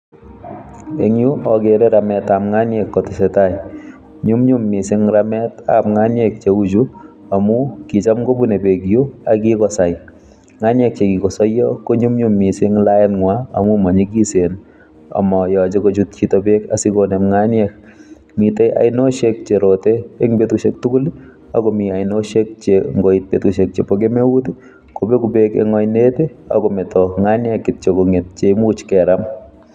Eng' yuu, agere rametab ng'aniek kotesetai. Nyunyum missing rametab ng'aniek cheu chuu amuu kicham kobune beek yuu, akigosai. Ng'aniek che kikosayio konyumyum missing laet ng'wa amuu manyigisen amayaje kochut chito beek asigonem ngaiek. Mitei ainoshek che rote eng' betushiek tugul agomii ainoshek che ngoit betushek chebo kemeut, kobegu beek eng' ainet akometo nganiek kityo kong'et che imuch keram.